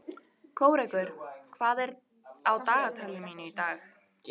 Kórekur, hvað er á dagatalinu mínu í dag?